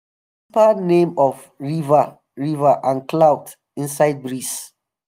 we dey whisper name of river river and cloud inside breeze.